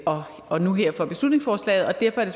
og og nu her for beslutningsforslaget og derfor er det